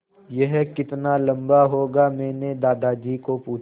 यह कितना लम्बा होगा मैने दादाजी को पूछा